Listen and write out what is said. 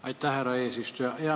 Aitäh, härra eesistuja!